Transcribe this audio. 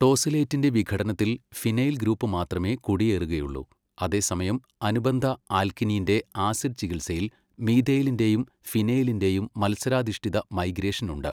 ടോസിലേറ്റിന്റെ വിഘടനത്തിൽ phenyl group മാത്രമേ കുടിയേറുകയുള്ളൂ. അതേസമയം അനുബന്ധ ആൽക്കീനിന്റെ ആസിഡ് ചികിത്സയിൽ മീഥൈലിന്റെയും ഫിനൈലിന്റെയും മത്സരാധിഷ്ഠിത മൈഗ്രേഷൻ ഉണ്ട്.